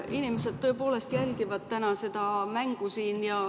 Inimesed tõepoolest jälgivad täna seda mängu siin.